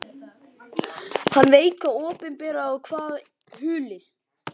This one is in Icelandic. Hann veit hvað opinberað er og hvað hulið.